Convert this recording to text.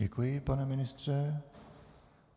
Děkuji, pane ministře.